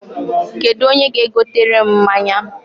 Kedụ onye ga-egotere m mmanya?